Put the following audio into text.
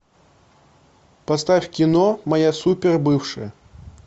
поставь кино моя супер бывшая